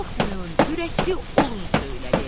Qorxmayın, ürəkli olun söylədi.